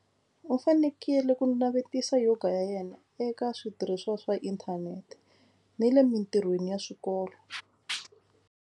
U fanekele ku navetisa yoga ya yena eka switirhisiwa swa inthanete ni le mitirhweni ya swikolo.